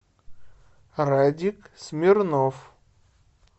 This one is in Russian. радик смирнов